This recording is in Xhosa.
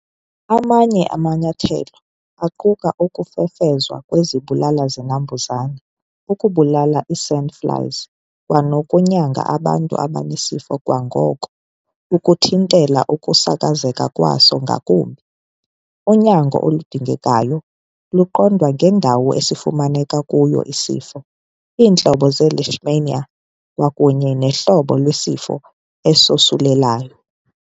Amanye amanyathelo aquka ukufefezwa kwezibulala-zinambuzane ukubulala ii-sandflies kwanokunyanga abantu abanesifo kwangoko ukuthintela ukusasazeka kwaso ngakumbi. Unyango oludingekayo luqondwa ngendawo esifumaneke kuyo isifo, iintlobo ze-Leishmania, kwakunye nohlobo lwesifo esosulelayo.